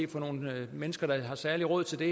til nogle mennesker der har særlig råd til det